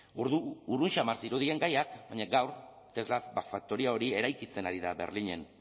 urrun samar zirudien gaiak baina gaur tesla faktoria hori eraikitzen ari da berlinen